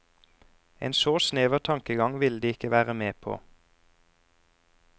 En så snever tankegang ville de ikke være med på.